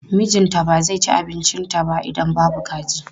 Mijinta ba zai ci abincinta ba idan babu kaji.